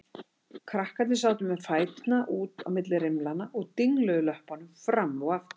Krakkarnir sátu með fæturna út á milli rimlanna og dingluðu löppunum fram og aftur.